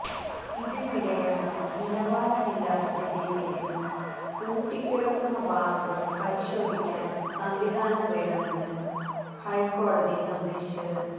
ഇതിനിടെയാണു നിലവാരമില്ലാത്തതിന്റെ പേരിൽ പൂട്ടിക്കിടക്കുന്ന ബാറുകൾ പരിശോധിക്കാൻ സംവിധാനം വേണമെന്ന് ഹൈക്കോടതി നിർദേശിച്ചത്